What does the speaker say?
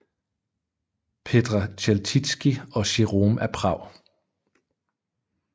Petr Chelcicky og Jerome af Prag